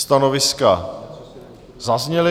Stanoviska zazněla.